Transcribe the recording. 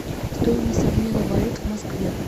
стоимость обмена валют в москве